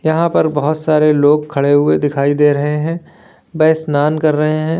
यहां पर बहोत सारे लोग खड़े हुए दिखाई दे रहे हैं वे स्नान कर रहे हैं।